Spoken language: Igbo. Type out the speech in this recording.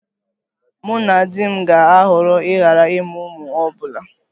Mụ na di m ga-ahọrọ ịghara ịmụ ụmụ ọ bụla